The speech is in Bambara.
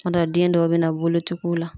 Kumadɔw den dɔw be na bolo ti k'u la